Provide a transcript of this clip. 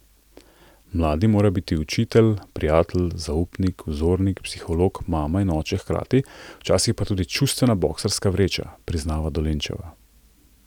Mladim mora biti učitelj, prijatelj, zaupnik, vzornik, psiholog, mama in oče hkrati, včasih pa tudi čustvena boksarska vreča, priznava Dolenčeva.